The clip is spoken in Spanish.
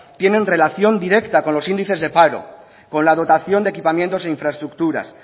tienen relación directa con los índices de paro con la dotación de equipamientos e infraestructuras